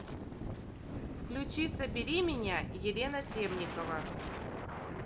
включи собери меня елена темникова